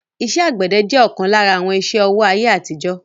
iṣẹ́ àgbẹ̀dẹ jẹ́ ọ̀kan lára àwọn iṣẹ́-ọwọ́ ayé àtijó